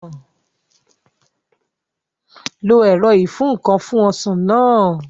Lo ẹ̀rọ ìfúǹkan fún Ọsàn náà